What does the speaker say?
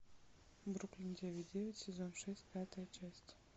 бруклин девять девять сезон шесть пятая часть